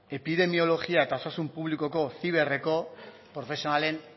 epidimeologia eta osasun publikoko profesionalen